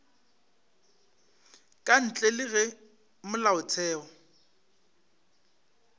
ka ntle le ge molaotheo